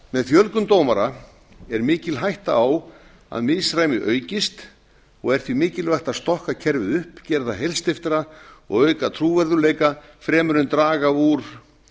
með fjölgun dómara er mikil hætta á að misræmi aukist og er því mikilvægt að stokka kerfið upp gera það heilsteyptara og auka trúverðugleika fremur en draga úr